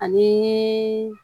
Ani